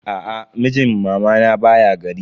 Aa, mijin mamana baya gari.